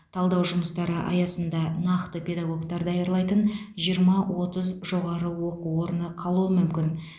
талдау жұмыстары аясында нақты педагогтар даярлайтын жиырма отыз жоғары оқу орны қалуы мүмкін